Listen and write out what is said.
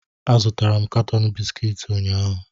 Azụtara m katọn bisikiiti ụnyaahụ